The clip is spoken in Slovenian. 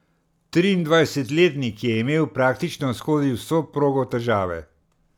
Triindvajsetletnik je imel praktično skozi vso progo težave.